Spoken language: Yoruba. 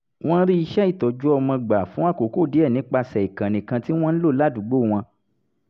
wọ́n rí iṣẹ́ ìtọ́jú ọmọ gbà fún àkókò díẹ̀ nípasẹ̀ ìkànnì kan tí wọ́n ń lò ládùúgbò wọn